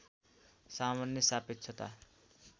सामान्य सापेक्षता